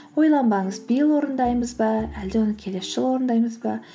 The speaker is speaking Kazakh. ойланбаңыз биыл орындаймыз ба әлде оны келесі жылы орындаймыз ба